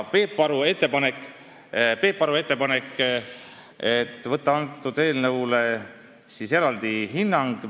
Peep Aru ettepanek oli võtta selle eelnõu kohta eraldi eksperdihinnang.